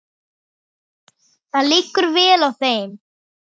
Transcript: Það liggur vel á þeim.